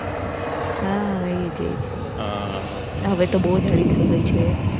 હા એજ એજ હા હવે તો બઉ જ જાડી થઇ ગઈ છે